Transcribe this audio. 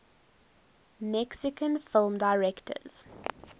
mexican film directors